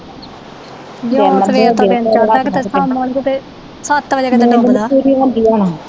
ਜੋ ਸਵੇਰ ਤੋਂ ਦਿਨ ਚੜ੍ਹਦਾ ਕਿਤੇ ਸ਼ਾਮਾਂ ਨੂੰ ਕਿਤੇ ਸੱਤ ਵਜੇ ਕਿਤੇ ਡੁਬਦਾ